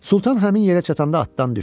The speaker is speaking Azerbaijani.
Sultan həmin yerə çatanda atdan düşdü.